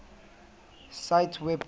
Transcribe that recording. cite web date